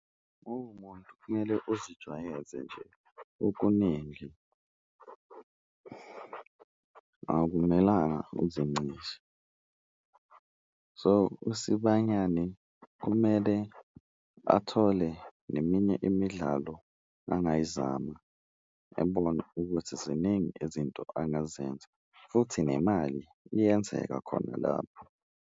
Uwumuntu kumele uzijwayeze nje okuningi akumelanga uzincishe. So, uSibanyane kumele athole neminye imidlalo angayizama ebone ukuthi ziningi izinto angazenza futhi nemali iyenzeka khona lapho.